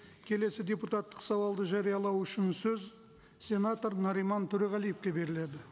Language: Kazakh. келесі депутаттық сауалды жариялау үшін сөз сенатор нариман төреғалиевке беріледі